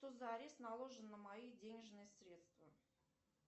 что за арест наложен на мои денежные средства